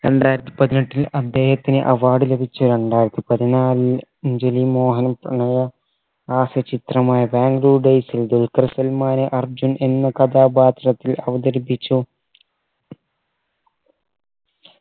രണ്ടായിരത്തി പതിനെട്ടിൽ അദ്ദേഹത്തിന് award ലഭിച്ച രണ്ടായിരത്തി പതിനാല് രഞ്ജിനി മോഹൻ പ്രണയ ഹാസ്യ ചിത്രമായ ബാംഗ്ലൂർ days ൽ ദുൽഖർ സൽമാന് അർജുൻ എന്ന കഥാപാത്രത്തിൽ അവതരിപ്പിച്ചു